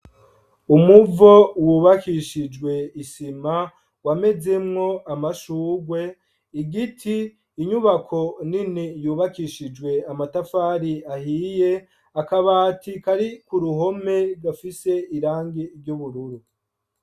Umuvo wubakishije isima wamezemwo amashurwe, igiti, inyubako nini yunakishijwe amatafari ahiye, akabati kari ku ruhome gafise irangi ry'ubururu.